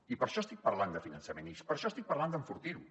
i per això estic parlant de finançament i per això estic parlant d’enfortir lo